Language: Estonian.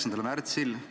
Aitäh!